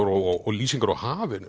og lýsingar á hafinu